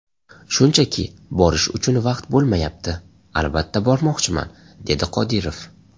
Shunchaki, borish uchun vaqt bo‘lmayapti... Albatta bormoqchiman”, dedi Qodirov.